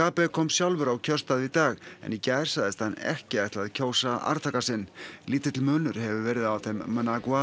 mugabe kom sjálfur á kjörstað í dag en í gær sagðist hann ekki ætla að kjósa arftaka sinn lítill munur hefur verið á þeim